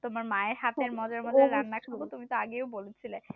তোমার মায়ের হাতের মজার মজার রান্না খাব তুমি তো আগেও বলেছিলে